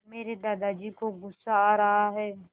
मेरे दादाजी को गुस्सा आ रहा है